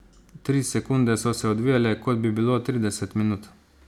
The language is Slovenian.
Tri sekunde so se odvijale kot bi bilo trideset minut.